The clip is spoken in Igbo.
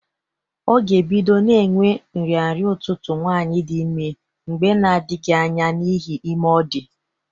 Ọ ga- ebido na-enwe nrịnrịa ụtụtụ nwaanyị dị ime mgbe na-adghị anya n'ihi ime ọ dị.